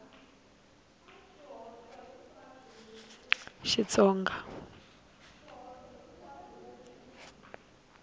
xitsonga